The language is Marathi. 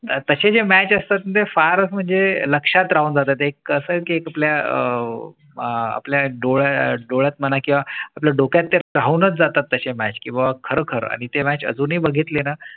तसे match असतात ते फार म्हणजे लक्षात राहून जातात. एक असं की आपल्या अह आपल्या डोळा डोळा म्हणा किंवा आपल्या डोक्यात राहूनच जातात तसे match किंवा खरखर आणि तेच अजूनही बघितले ना